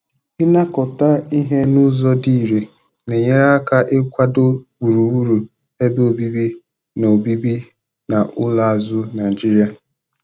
inakọta ihe n'ụzọ dị ire na-enyere aka ikwado gburugburu ebe obibi na obibi na ụlọ azụ Naijiria.